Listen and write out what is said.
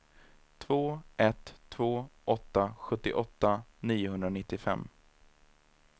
två ett två åtta sjuttioåtta niohundranittiofem